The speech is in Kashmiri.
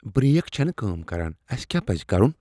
بریک چھنہ کٲم کران۔ اسہ کیاہ پزِ کرُن؟